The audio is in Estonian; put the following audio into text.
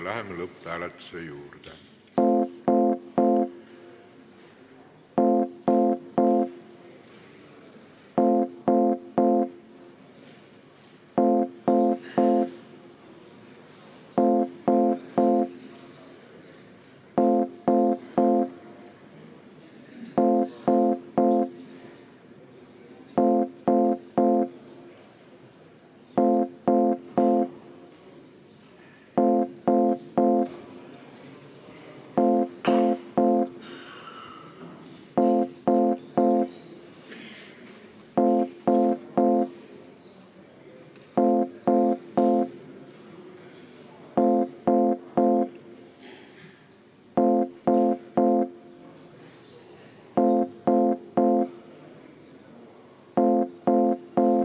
Läheme lõpphääletuse juurde.